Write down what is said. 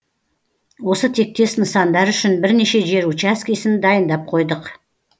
осы тектес нысандар үшін бірнеше жер учаскесін дайындап қойдық